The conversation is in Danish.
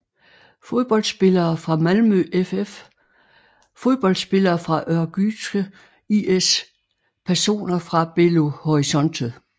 Fodboldspillere fra Malmö FF Fodboldspillere fra Örgryte IS Personer fra Belo Horizonte